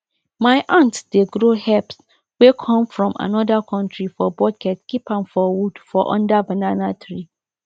my aunt dey grow herbs wey come from another country for bucket keep am for wood for under banana tree